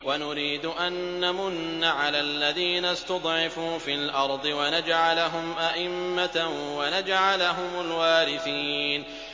وَنُرِيدُ أَن نَّمُنَّ عَلَى الَّذِينَ اسْتُضْعِفُوا فِي الْأَرْضِ وَنَجْعَلَهُمْ أَئِمَّةً وَنَجْعَلَهُمُ الْوَارِثِينَ